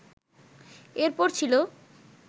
এর পর ছিল